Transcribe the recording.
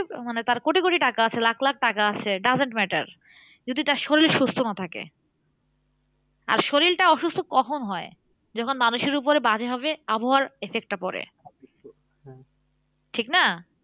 মানে তার কোটি কোটি টাকা আছে লাখ লাখ টাকা আছে doesn't matter যদি তার শরীর সুস্থ না থাকে। আর শরীর টা অসুস্থ কখন হয়? যখন মানুষের উপরে বাজে ভাবে আবহাওয়ার effect টা পরে। ঠিকনা?